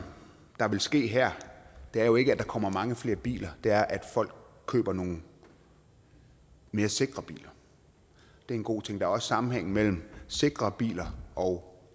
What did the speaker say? der vil ske her er jo ikke at der kommer mange flere biler det er at folk køber nogle mere sikre biler det er en god ting der er også sammenhæng mellem sikre biler og